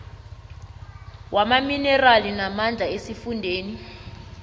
wamaminerali namandla esifundeni